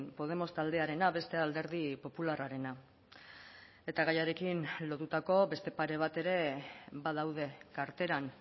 podemos taldearena bestea alderdi popularrarena eta gaiarekin lotutako beste pare bat ere badaude karteran